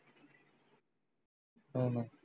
होण